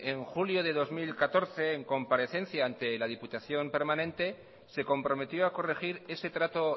en julio del dos mil catorce en comparecencia ante la diputación permanente se comprometió a corregir ese trato